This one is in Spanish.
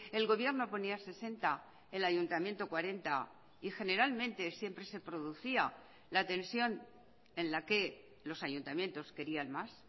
el gobierno ponía sesenta el ayuntamiento cuarenta y generalmente siempre se producía la tensión en la que los ayuntamientos querían más